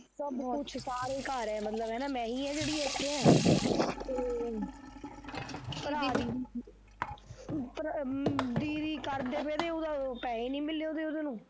ਸਭ ਕੁਛ ਸਾਰੇ ਘਰ ਆ ਮਤਲਬ ਹੈਨਾ ਮੈਂ ਈ ਆ ਜਿਹੜੀ ਇੱਥੇ ਆ, ਤੇ ਭਰਾ ਵੀ ਭਰਾ ਅਮਮ ਦੀਦੀ ਕਰਦੇ ਪਏ ਤੇ ਉਹਦੇ ਪੈਸੇ ਨੀ ਮਿਲੇ ਉਹਦੇ ਉਹਨੂੰ